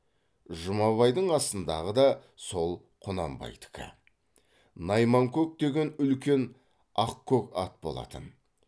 жұмабайдың астындағы да сол құнанбайдікі найманкөк деген үлкен ақкөк ат болатын